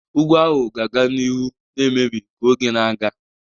Ugwu ahụ ga-aga n'ihu na-emebi ka oge na-aga.